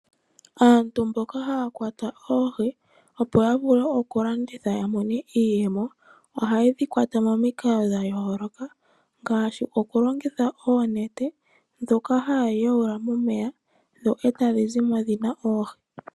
Aantu mboka haya kwata oohi opo yavule okulanditha ya mone iiyemo ohaye dhi kwata momikalo dha yooloka ngaashi okulongitha oonete ndhoka haya yuula momeya dho etadhi zimo dhina oohi.